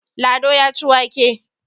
Lado ya ci wake.